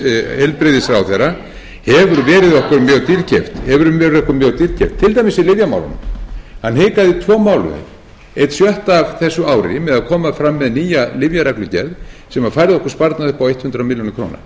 okkur mjög dýrkeypt til dæmis í lyfjamálunum hann hikaði í tvo mánuði einn sjötti af þessu ári með að koma fram með nýja lyfjareglugerð sem færði okkur sparnað upp á hundrað milljónir króna